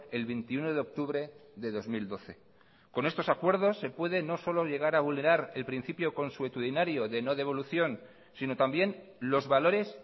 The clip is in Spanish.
el veintiuno de octubre de dos mil doce con estos acuerdos se puede no solo llegar a vulnerar el principio consuetudinario de no devolución sino también los valores